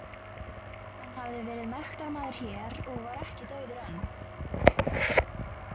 Hann hafði verið mektarmaður hér og var ekki dauður enn.